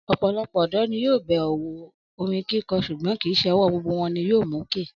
Ọ̀pọ̀lọpọ̀ ọ̀dọ́ ni yóò bẹ̀rẹ̀ òwò orin kíkọ ṣùgbọ́n kì í ṣe ọwọ́ gbogbo wọn ni yóò mókè